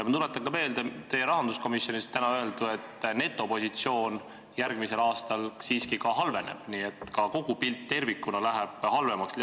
Ma tuletan ka meelde, mida te täna rahanduskomisjonis ütlesite: järgmisel aastal netopositsioon siiski halveneb, nii et ka kogupilt läheb halvemaks.